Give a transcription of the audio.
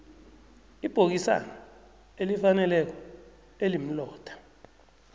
ibhokisana elifaneleko elimlotha